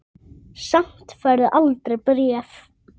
Samt færð þú aldrei bréf.